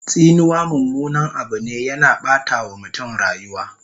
Tsinuwa mummunan Abu ne, yana Ɓata wa mutum rayuwa